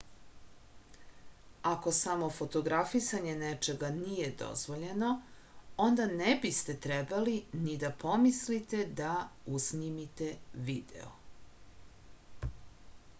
ako samo fotografisanje nečega nije dozvoljeno onda ne biste trebali ni da pomislite da usnimite video